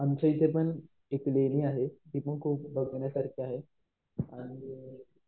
आमच्या इथे पण एक लेणी आहे ती पण खूप बघण्यासारखी आहे.